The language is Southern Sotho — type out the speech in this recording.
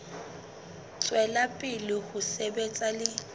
tswela pele ho sebetsa le